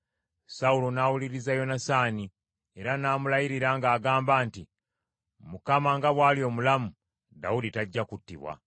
Sawulo n’awuliriza Yonasaani, era n’amulayirira ng’agamba nti, “ Mukama nga bw’ali omulamu, Dawudi tajja kuttibwa.”